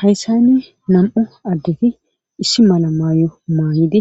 Hayssan nam'u addeti issi mala mayo mayidi